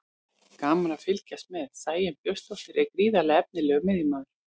Gaman að fylgjast með: Sæunn Björnsdóttir er gríðarlega efnilegur miðjumaður.